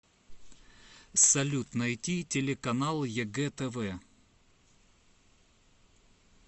салют найти телеканал егэ тв